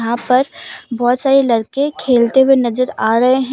यहां पर बोहोत सारे लड़के खेलते हुए नजर आ रहे हैं।